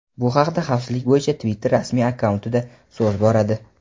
Bu haqda xavfsizlik bo‘yicha Twitter rasmiy akkauntida so‘z boradi.